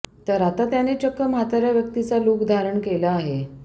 तर आता त्याने चक्क म्हाताऱ्या व्यक्तिचा लूक धारण केला आहे